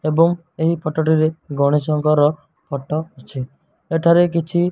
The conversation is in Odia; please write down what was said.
ଏବଂ ଏହି ଫଟୋ ଟିରେ ଗଣେଶଙ୍କର ଫଟୋ ଅଛି ଏଠାରେ କିଛି --